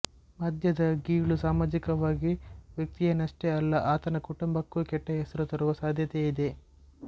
ಮದ್ಯದ ಗೀಳು ಸಾಮಾಜಿಕವಾಗಿ ವ್ಯಕ್ತಿಯನ್ನಷ್ಟೇ ಅಲ್ಲ ಆತನ ಕುಟುಂಬಕ್ಕೂ ಕೆಟ್ಟ ಹೆಸರು ತರುವ ಸಾಧ್ಯತೆ ಇದೆ